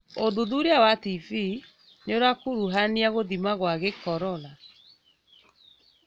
ũthuthuria wa TB nĩũrakuruhania gũthima gwa gĩkorora